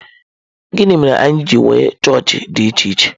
Gịnị mere anyị ji nwee chọọchị dị iche iche?